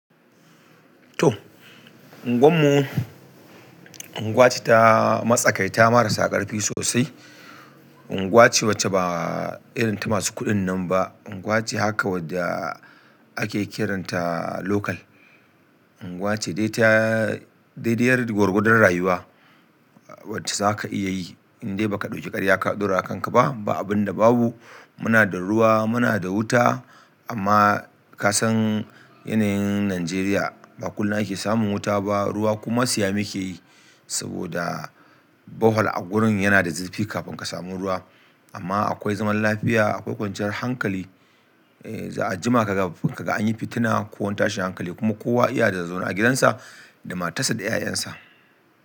To! Unguwar mu, unguwace ta matsakaita marasa ƙarfi sosai. Unguwace wacce ba irin ta masu kuɗin nan ba. Unguwace haka wadda ake kiranta local. Unguwace dai ta daidiyar gwargwadon rayuwa, wacce za ka iya yi in dai ba ka ɗauki ƙarya ka ɗaura wa kanka ba, ba abinda babu. Muna da ruwa, muna da wuta amma ka san yanayin Najeriya, ba kullum ake samun wuta ba, ruwa kuma siya muke yi saboda borehole a gurin yana da zurfi kafin ka samu ruwa. Amma akwai zaman lafiya, akwai kwanciyar hankali. A jima ka ga an yi fitina ko wani tashin hankali kuma kowa iya da zaune a gidansa da matarsa da 'ya'yan sa.